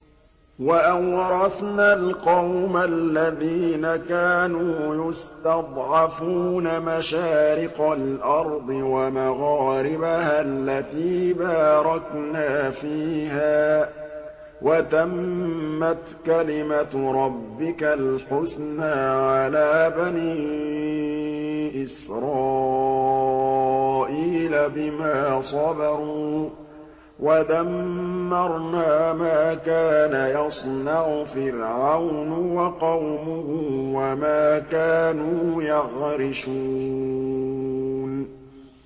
وَأَوْرَثْنَا الْقَوْمَ الَّذِينَ كَانُوا يُسْتَضْعَفُونَ مَشَارِقَ الْأَرْضِ وَمَغَارِبَهَا الَّتِي بَارَكْنَا فِيهَا ۖ وَتَمَّتْ كَلِمَتُ رَبِّكَ الْحُسْنَىٰ عَلَىٰ بَنِي إِسْرَائِيلَ بِمَا صَبَرُوا ۖ وَدَمَّرْنَا مَا كَانَ يَصْنَعُ فِرْعَوْنُ وَقَوْمُهُ وَمَا كَانُوا يَعْرِشُونَ